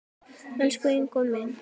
Elsku Ingó minn.